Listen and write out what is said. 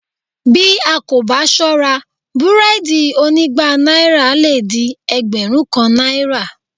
Bí a kò bá sọ́ra búrẹ́ẹ́dì onígba náírà lè di ẹgbẹ̀rún kan náírà